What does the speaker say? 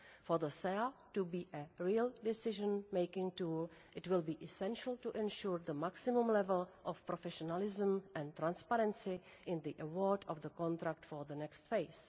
For the SEA to be a real decision making tool, it will be essential to ensure the maximum level of professionalism and transparency in the award of the contract for the next phase.